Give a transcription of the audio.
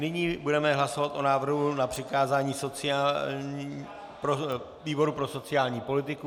Nyní budeme hlasovat o návrhu na přikázání výboru pro sociální politiku.